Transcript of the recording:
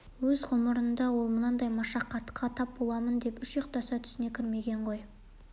өз ғұмырында ол мұндай машақатқа тап боламын деп үш ұйықтаса түсіне кірмеген ғой